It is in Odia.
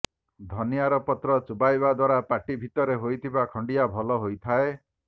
ଧନିଆର ପତ୍ର ଚୋବାଇବା ଦ୍ୱାରା ପାଟି ଭିତରେ ହୋଇଥିବା ଖଣ୍ଡିଆ ଭଲ ହୋଇଥାଏ